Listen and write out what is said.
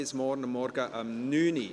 Bis morgen Vormittag um 9.00 Uhr.